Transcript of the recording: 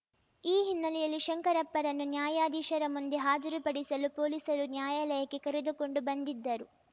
ಈ ಹಿನ್ನೆಲೆಯಲ್ಲಿ ಶಂಕರಪ್ಪರನ್ನು ನ್ಯಾಯಾಧೀಶರ ಮುಂದೆ ಹಾಜರುಪಡಿಸಲು ಪೊಲೀಸರು ನ್ಯಾಯಾಲಯಕ್ಕೆ ಕರೆದುಕೊಂಡು ಬಂದಿದ್ದರು